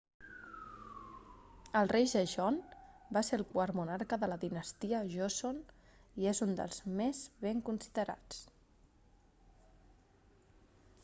el rei sejong va ser el quart monarca de la dinastia joseon i és un dels més ben considerats